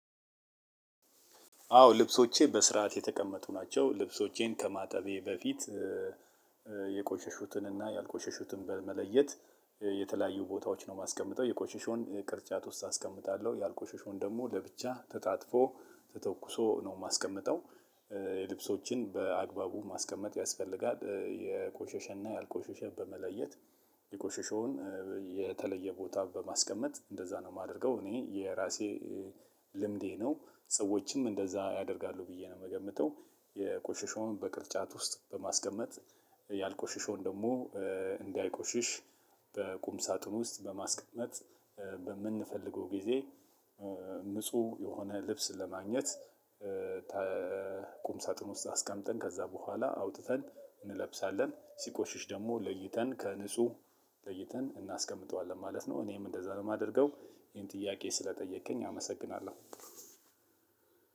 አዎ ልብሶቼ በስርዓት የተቀመጡ ናቸው። ልብሶቼን ከማጠቤ በፊት የቆሸሹትንና ያልቆሸሹትን በመለየት የተለያዩ ቦታዎች ነው የማስቀምጠው የቆሸሸውን ቅርጫት ውስጥ አስቀምጣለሁ ያልቆሸሸውን ደግሞ ለብቻ ተጣጥፎ ተተኩሶ ነው የማስቀምጠው። ልብሶችን በአግባቡ ማስቀመጥ ያስፈልጋል። የቆሸሸና ያልቆሸሸ በመለየት የቆሸሸውን የተለየ ቦታ በማስቀመጥ እንደዛ ነው የማደርገው። እኔ የራሴ ልምዴ ነው ሰዎችም እንደዛ ያደርጋሉ ብዬ ነው የምገምተው። የቆሸሸውን በቅርጫት ውስጥ በማስቀመጥ ያልቆሸሸውን ደግሞ እንዳይቆሽሽ በቁም ሳጥን ውስጥ በማስቀመጥ በምንፈልገው ጊዜ ንጹ የሆነ ልብስ ለማግኘት ቁም ሳጥን ውስጥ አስቀምጠን ከዛ በኋላ አውጥተን እንለብሳለን ሲቆሽሽ ደግሞ ለይተን ከንጹህ ለይተን እናስቀምጠዋለን ማለት ነው። እኔም እንደዛ ነው ማደርገው ይሄን ጥያቄ ስለጠየከኝ አመሰግናለሁ።